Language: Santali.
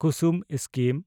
ᱠᱩᱥᱩᱢ ᱥᱠᱤᱢ